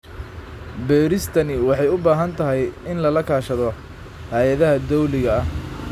Beeristani waxay u baahan tahay in lala kaashado hay'adaha dawliga ah.